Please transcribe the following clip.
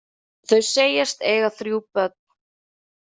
Þau segjast eiga þrjú börn.